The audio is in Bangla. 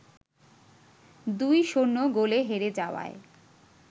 ২-০ গোলে হেরে যাওয়ায়